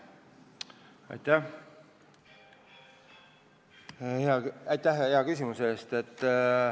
Aitäh hea küsimuse eest!